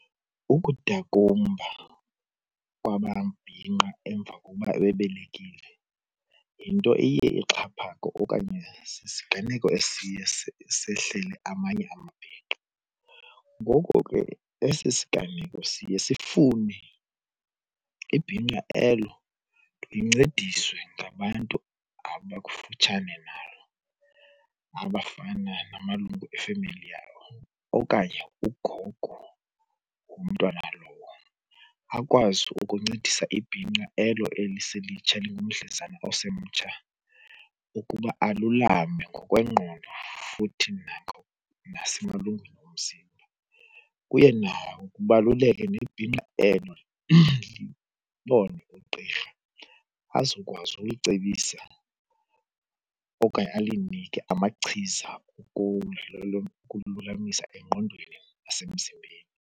Ukudakumba kwamabhinqa emva kokuba bebelekile yinto iye ixhaphake okanye sisiganeko esiye sehlele amanye amabhinqa. Ngoko ke esi siganeko siye sifune ibhinqa elo lincediswe ngabantu abakufutshane nalo abafana namalungu efemeli yalo okanye ugogo womntwana lowo. Akwazi ukuncedisa ibhinqa elo eliselitsha elingumdlezana osemtsha ukuba alulame ngokwengqondo futhi nasemalungwini omzimba. Kuye kubaluleke ibhinqa elo libone ugqirha azokwazi ulicebisa okanye alinike amachiza ukumlulamisa engqondweni nasemzimbeni.